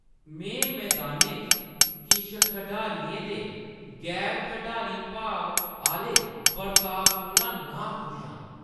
मैं मदानै च किश खढारियें दे गैर-खढारी भाव आह्‌ले बर्ताव कोला नाखुश आं।